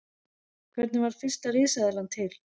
Hvernig varð fyrsta risaeðlan til?